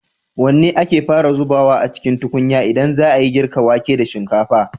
Wanne ake fara zubawa a cikin tukunya idan za a yi girka wake da shinkafa?